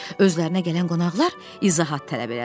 Özlərinə gələn qonaqlar izahat tələb elədilər.